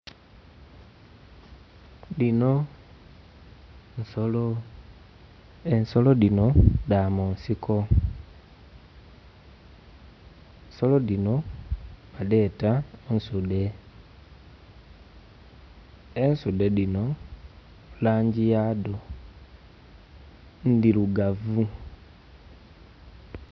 Dino nsolo. Ensolo dino dha munsiko. Ensolo dino badheeta nsuude. Ensuude dino langi yadho ndirugavu